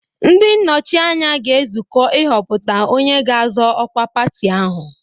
Ndị nnọchi anya ga-ezukọ ịhọpụta onye ga-azọ ọkwa pati ahụ.